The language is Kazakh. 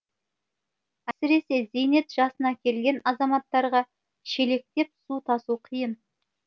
әсіресе зейнет жасына келген азаматтарға шелектеп су тасу қиын